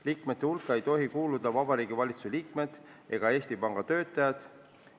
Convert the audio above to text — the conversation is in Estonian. Liikmete hulka ei tohi kuuluda Vabariigi Valitsuse liikmed ega Eesti Panga töötajad.